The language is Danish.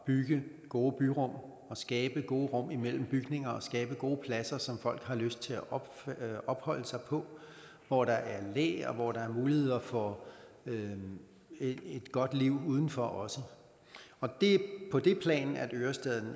bygge gode byrum og skabe gode rum imellem bygninger og skabe gode pladser som folk har lyst til at opholde sig på hvor der er læ og hvor der også er mulighed for et godt liv udenfor og det er på det plan at ørestaden